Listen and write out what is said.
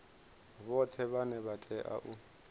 vhoṱhe vhane vha tea u